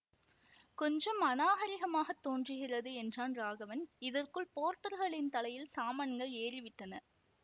கொஞ்சம் அநாகரிகமாகத் தோன்றுகிறது என்றான் ராகவன் இதற்குள் போர்ட்டர்களின் தலையில் சாமான்கள் ஏறிவிட்டன